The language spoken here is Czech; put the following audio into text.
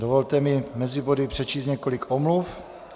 Dovolte mi mezi body přečíst několik omluv.